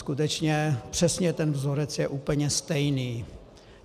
Skutečně, přesně ten vzorec je úplně stejný.